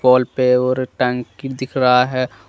Wall पे और टंकी दिख रहा है।